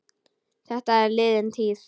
Þetta er liðin tíð.